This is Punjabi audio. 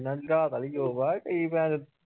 ਜਿਨ੍ਹਾਂ ਦੀ ਰਾਤ ਆਲੀ job ਆ ਕਈ ਭੇਨਚੋਦ